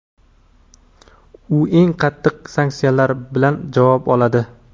u eng qattiq sanksiyalar bilan javob oladi.